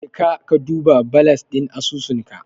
Jeka ka duba balas ɗin asusunka.